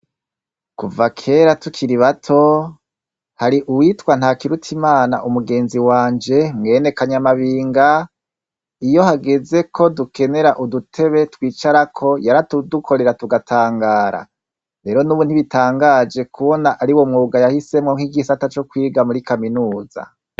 Kuva kera tukiri bato hari uwitwa nta kirutsa imana umugenzi wanje mwene kanyamabinga iyo hageze ko dukenera udutebe twicarako yara tudukorera tugatangara, rero n'ubu ntibitangaje kubona ari wo mwuga yahisemwo nk'igisata co kwiga muri kaminuza.